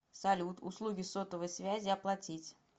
салют услуги сотовой связи оплатить